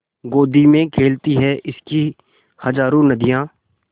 गोदी में खेलती हैं इसकी हज़ारों नदियाँ